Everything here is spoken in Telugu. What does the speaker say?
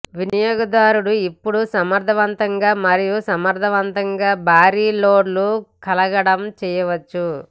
వినియోగదారుడు ఇప్పుడు సమర్థవంతంగా మరియు సమర్థవంతంగా భారీ లోడ్లు కడగడం చేయవచ్చు